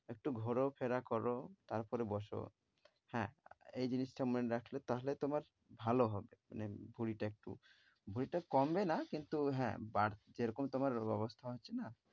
একটু ঘোরফেরা কর, তারপরে বসো। হ্যাঁ, এই জিনিসটা মনে রাখলে তাহলে তোমার ভালো হবে মানে ভুঁড়িটা একটু, ভুঁড়িটা কমবে না কিন্তু হ্যাঁ বাড়~ যেরকম তোমার অবস্থা হচ্ছে না,